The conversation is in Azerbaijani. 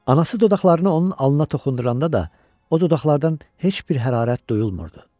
Anası dodaqlarını onun alnına toxunduranda da, o dodaqlardan heç bir hərarət duyulmurdu.